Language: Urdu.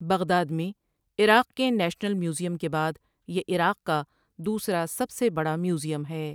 بغداد میں عراق کے نیشنل میوزیم کے بعد یہ عراق کا دوسرا سب سے بڑا میوزیم ہے ۔